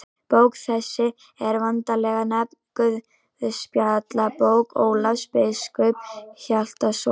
Bók þessi er vanalega nefnd Guðspjallabók Ólafs biskups Hjaltasonar.